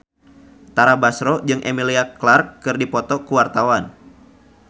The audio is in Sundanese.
Tara Basro jeung Emilia Clarke keur dipoto ku wartawan